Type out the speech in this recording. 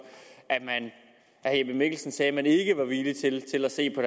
at herre jeppe mikkelsen sagde at man ikke var villig til til at se på